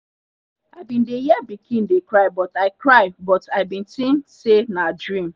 i bin dey hear pikin dey cry but i cry but i bin think say nah dream